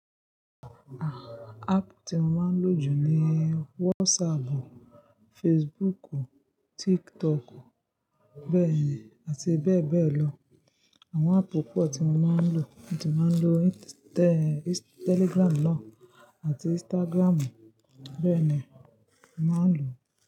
Ah, app tí mo máa ń lò jù ni WhatsApp, Facebook, TikTok, bẹ́ẹ̀ àti bẹ́ẹ̀ bẹ́ẹ̀ lọ. Àwọn app púpọ̀ tí mo máa ń lò, mo ti máa ń lo Telegram náà àti Instagram, bẹ́ẹ̀ ni màá lò.